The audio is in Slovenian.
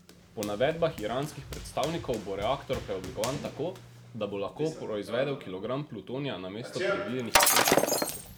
Po navedbah iranskih predstavnikov bo reaktor preoblikovan tako, da bo lahko proizvedel kilogram plutonija namesto predvidenih osmih.